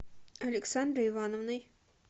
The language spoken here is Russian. александрой ивановной